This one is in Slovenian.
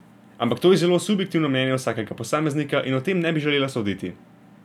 Ampak to je zelo subjektivno mnenje vsakega posameznika in o tem ne bi želela soditi.